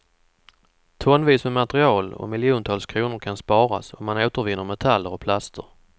Tonvis med material och miljontals kronor kan sparas om man återvinner metaller och plaster.